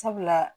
Sabula